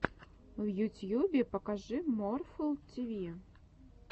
в ютьюбе покажи морфл ти ви